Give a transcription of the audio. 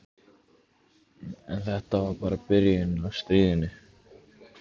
En þetta var bara byrjunin á stríðinu.